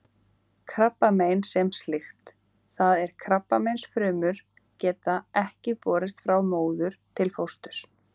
Krabbamein sem slíkt, það er krabbameinsfrumur, geta ekki borist frá móður til fósturs.